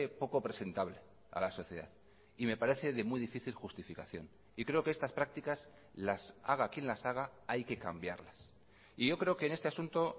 poco presentable a la sociedad y me parece de muy difícil justificación y creo que estas prácticas las haga quien las haga hay que cambiarlas y yo creo que en este asunto